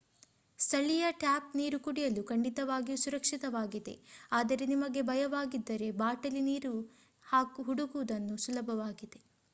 ಸ್ಥಳೀಯ ಟ್ಯಾಪ್ ನೀರು ಕುಡಿಯಲು ಖಂಡಿತವಾಗಿಯೂ ಸುರಕ್ಷಿತವಾಗಿದೆ ಆದರೆ ನಿಮಗೆ ಭಯವಾಗಿದ್ದರೆ ಬಾಟಲಿ ನೀರನ್ನು ಹುಡುಕುವುದು ಸುಲಭವಾಗಿದೆ